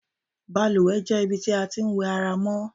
Balùwè jé̩ ibi tí a ti ń wè̩ ara wa mó̩.